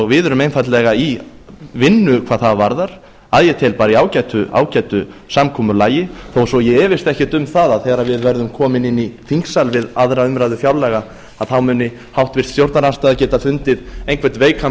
við erum einfaldlega í vinnu hvað það varðar að ég tel bara í ágætu samkomulagi þó svo ég efist ekkert um að þegar við verðum komin inn í þingsal við aðra umræðu fjárlaga þá muni háttvirtur stjórnarandstaða geta fundið einhvern veikan